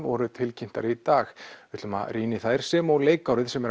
voru tilkynntar í dag við ætlum að rýna í þær sem og leikárið sem